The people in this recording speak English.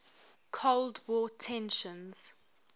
cold war tensions